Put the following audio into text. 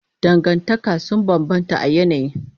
Dangantaka sun bambanta a yanayi.